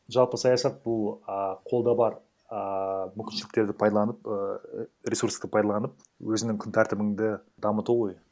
жалпы саясат бұл і қолда бар ааа мүмкіншіліктерді пайдаланып ііі ресурсты пайдаланып өзінің күн тәртібіңді дамыту ғой